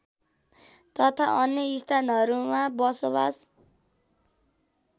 तथा अन्य स्थानहरूमा बसोबास